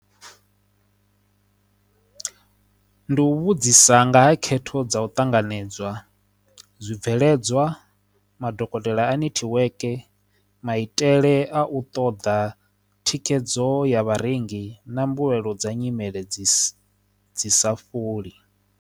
Nṋe ndi u vhudzisa nga ha khetho dza u ṱanganedzwa zwibveledzwa madokotela a nethiweke maitele a u ṱoḓa thikhedzo ya vharengi na mbuyelo dza nyimele dzi dzi sa fholi.